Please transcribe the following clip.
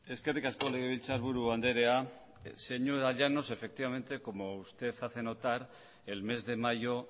eskerrik asko legebiltzarburu andrea señora llanos efectivamente como usted hace notar el mes de mayo